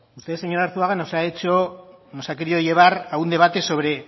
usted señor arzuaga nos ha querido llevar a un debate